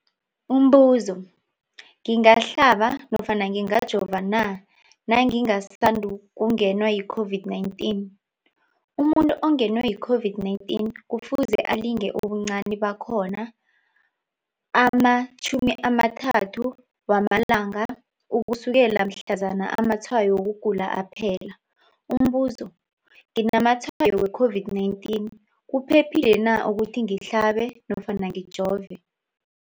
Umbuzo, ngingahlaba nofana ngingajova na nangisandu kungenwa yi-COVID-19? Umuntu ongenwe yi-COVID-19 kufuze alinde ubuncani bakhona ama-30 wama langa ukusukela mhlazana amatshayo wokugula aphela. Umbuzo, nginamatshayo we-COVID-19, kuphephile na ukuthi ngihlabe nofana ngijove?